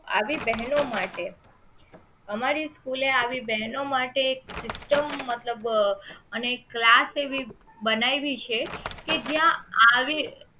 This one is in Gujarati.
આવી બહેનો માટે અમારી સ્કૂલ એ આવી બહેનો માટે સિસ્ટમ મતલબ અને ક્લાસ એવી બનાવી છે કે જ્યાં આવે